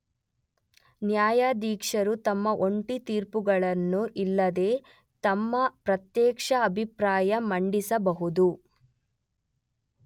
ನ್ಯಾಯಾಧೀಶರು ತಮ್ಮ ಜಂಟಿ ತೀರ್ಪುಗಳನ್ನು ಇಲ್ಲವೆ ತಮ್ಮ ಪ್ರತ್ಯೇಕ ಅಭಿಪ್ರಾಯ ಮಂಡಿಸಬಹುದು.